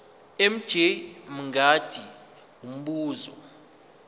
mj mngadi umbuzo